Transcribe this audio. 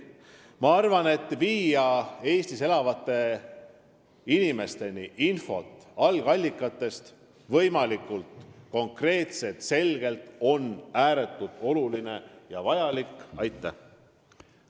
Ma arvan, et on ääretult oluline ja vajalik viia algallikatest infot Eestis elavate inimesteni ning seda võimalikult konkreetselt ja selgelt.